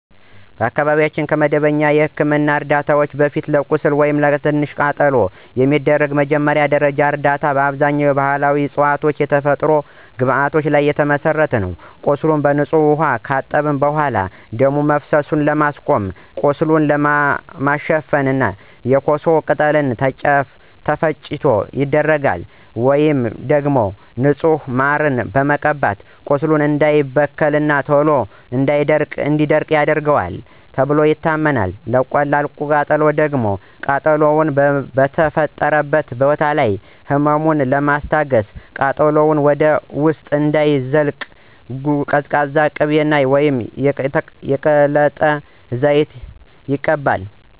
በአካባቢያችን ከመደበኛ የሕክምና ዕርዳታ በፊት፣ ለቁስል ወይም ለቀላል ቃጠሎ የሚደረገው መጀመሪያ ደረጃ እርዳታ በአብዛኛው በባሕላዊ ዕፅዋትና የተፈጥሮ ግብዓቶች ላይ የተመሠረተ ነው። ቁስሉን በንጹህ ውኃ ካጠቡ በኋላ፣ ደም መፍሰሱን ለማስቆም እና ቁስሉን ለመሸፈን የኮሶ ቅጠል ተፈጭቶ ይደረጋል። ወይም ደግሞ ንጹህ ማርን መቀባት ቁስሉ እንዳይበከልና ቶሎ እንዲደርቅ ይረዳዋል ተብሎ ይታመናል። ለቀላል ቃጠሎ ደግሞ ቃጠሎው በተፈጠረበት ቦታ ላይ ህመሙን ለማስታገስና ቃጠሎው ወደ ውስጥ እንዳይዘልቅ ቀዝቃዛ ቅቤ ወይም የቅልጥም ዘይት ይቀባል።